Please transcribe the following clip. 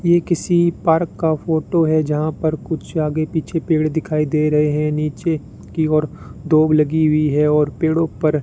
ये किसी पार्क का फोटो है जहां पर कुछ आगे पीछे पेड़ दिखाई दे रहे है नीचे की ओर दूब लगी हुई है और पेड़ों पर --